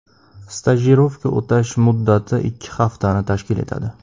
Stajirovka o‘tash muddati ikki haftani tashkil etadi.